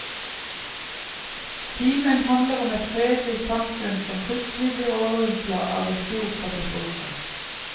Kimen handler om et fredelig samfunn som plutselig blir overrumpla av en stor katastrofe.